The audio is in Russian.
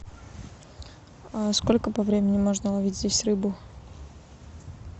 сколько по времени можно ловить здесь рыбу